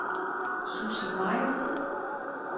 Sussi Meyer